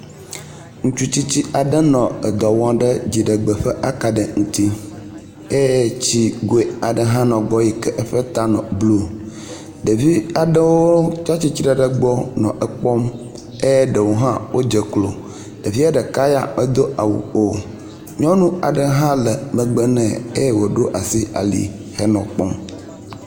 Ŋutsu tsitsi aɖe nɔ edɔwɔm ɖe edzigbe ƒe akaɖi ŋuti eye tsikoe aɖe hã nɔ gbɔ yi ke eƒe ta nɔ blue, ɖevi aɖewo tsia tsitre ɖe egbɔ nɔ ekpɔm ye ɖewo hã wodze klo, ɖevia ɖeka ya medo awu o, nyɔnu aɖe hã la megbe nɛ eye woɖo asi ali nɔ ekpɔm